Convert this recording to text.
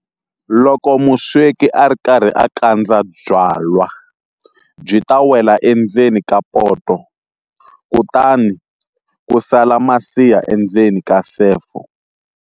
Loko musweki a ri karhi a kandza byalwa byi ta wela endzeni ka poto, kutani ku sala masiha endzeni ka sefo.